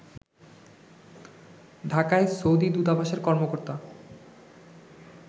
ঢাকায় সৌদি দূতাবাসের কর্মকর্তা